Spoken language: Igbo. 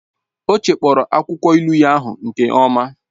Ọ chekpọrọ akwụkwọ ilu ahụ nke ọma